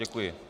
Děkuji.